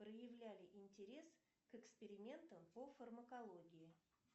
проявляли интерес к экспериментам по фармокологии